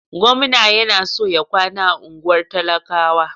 Gwamna yana so ya kwana a unguwar talakawa.